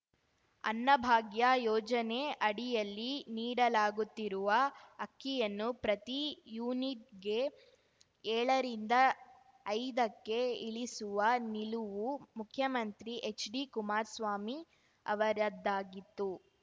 ಅನ್ನಭಾಗ್ಯ ಯೋಜನೆ ಅಡಿಯಲ್ಲಿ ನೀಡಲಾಗುತ್ತಿರುವ ಅಕ್ಕಿಯನ್ನು ಪ್ರತಿ ಯೂನಿಟ್‌ಗೆ ಏಳರಿಂದ ಐದಕ್ಕೆ ಇಳಿಸುವ ನಿಲುವು ಮುಖ್ಯಮಂತ್ರಿ ಎಚ್‌ಡಿಕುಮಾರ್ ಸ್ವಾಮಿ ಅವರದ್ದಾಗಿತ್ತು